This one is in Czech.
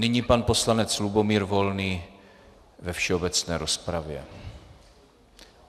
Nyní pan poslanec Lubomír Volný ve všeobecné rozpravě.